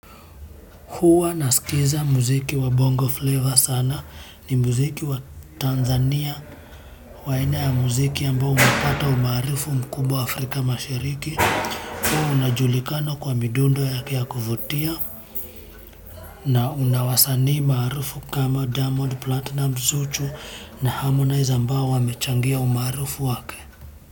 Huwa nasikiliza muziki wa Bongo Flava sana. Ni muziki wa Tanzania, wa aina ya muziki ambao umepata umaarufu mkubwa Afrika Mashariki. Huwa unajulikana kwa midundo yake ya kuvutia. Na una wasanii maarufu kama Diamond Platnumz, Zuchu na Harmonize ambao wamechangia umaarufu wake.